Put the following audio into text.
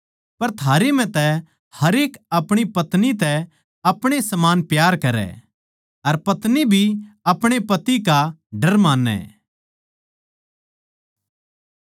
पर थारै म्ह तै हरेक अपणी पत्नी तै अपणे समान प्यार करै अर पत्नी भी अपणे पति का डर मानै